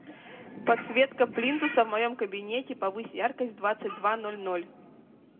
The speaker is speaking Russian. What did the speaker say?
подсветка плинтуса в моем кабинете повысь яркость в двадцать два ноль ноль